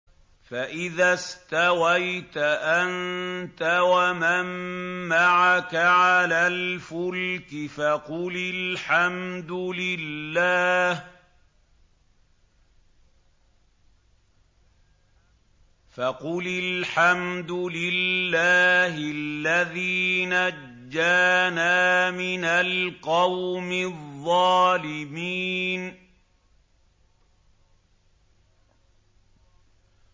فَإِذَا اسْتَوَيْتَ أَنتَ وَمَن مَّعَكَ عَلَى الْفُلْكِ فَقُلِ الْحَمْدُ لِلَّهِ الَّذِي نَجَّانَا مِنَ الْقَوْمِ الظَّالِمِينَ